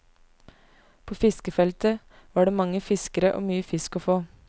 På fiskefeltet var det mange fiskere og mye fisk å få.